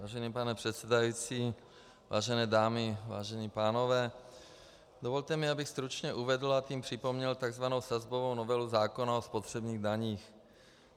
Vážený pane předsedající, vážené dámy, vážení pánové, dovolte mi, abych stručně uvedl, a tím připomněl tzv. sazbovou novelu zákona o spotřebních daních.